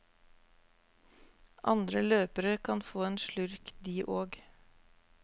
Andre løpere kan få en slurk de og.